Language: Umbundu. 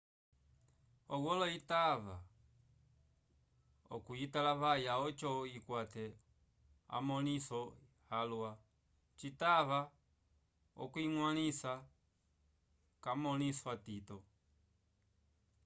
owolo itava okuyitalavaya oco ikwate amõliso alwa citava okuyiñgwalisa k'amõliso atito